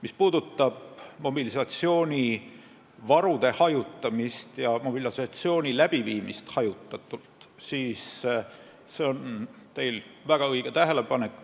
Mis puudutab mobilisatsioonivarude hajutamist ja mobilisatsiooni läbiviimist hajutatult, siis see on teil väga õige tähelepanek.